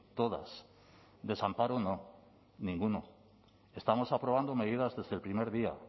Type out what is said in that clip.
todas desamparo no ninguno estamos aprobando medidas desde el primer día